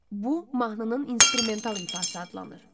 Bu, mahnının instrumental ifası adlanır.